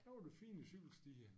Der var det fint i cykelstier